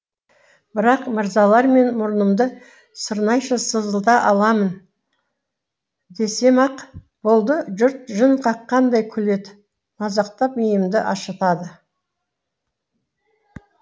бірақ мырзалар мен мұрнымды сырнайша сызылта аламын десем ақ болды жұрт жын қаққандай күледі мазақтап миымды ашытады